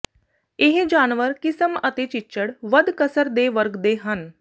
ਇਹ ਜਾਨਵਰ ਕਿਸਮ ਅਤੇ ਚਿੱਚੜ ਵੱਧ ਕਸਰ ਦੇ ਵਰਗ ਦੇ ਹਨ